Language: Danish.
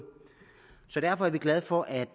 derfor er vi glade for at